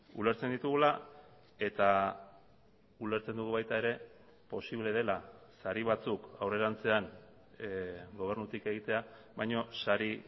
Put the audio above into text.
ulertzen ditugula eta ulertzen dugu baita ere posible dela sari batzuk aurrerantzean gobernutik egitea baina sari